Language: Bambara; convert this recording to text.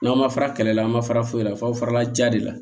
N'aw ma fara kɛlɛ la an ma fara foyi la f'aw farala ja de la